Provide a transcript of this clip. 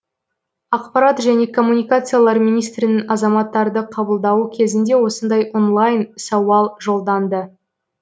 ақпарат және коммуникациялар министрінің азаматтарды қабылдауы кезінде осындай онлайн сауал жолданды